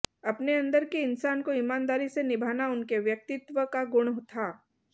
अपने अंदर के इंसान को ईमानदारी से निभाना उनके व्यक्तित्व का गुण था